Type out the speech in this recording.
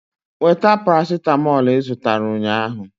Weta paracetamolu ị zụtara ụnyahụ!